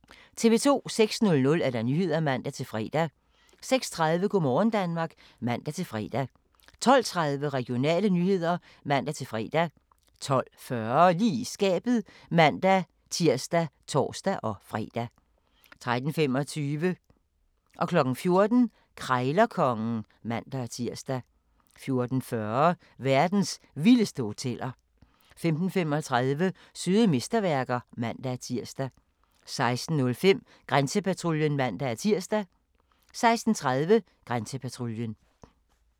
06:00: Nyhederne (man-fre) 06:30: Go' morgen Danmark (man-fre) 12:30: Regionale nyheder (man-fre) 12:40: Lige i skabet (man-tir og tor-fre) 13:25: Krejlerkongen (man-tir) 14:00: Krejlerkongen (man-tir) 14:40: Verdens vildeste hoteller 15:35: Søde mesterværker (man-tir) 16:05: Grænsepatruljen (man-tir) 16:30: Grænsepatruljen